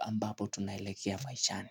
ambapo tunaelekea maishani.